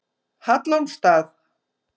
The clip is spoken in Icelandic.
Hallormsstað